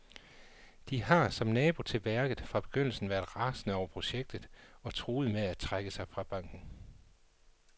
De har, som nabo til værket, fra begyndelsen været rasende over projektet og truer med at trække sig fra banken.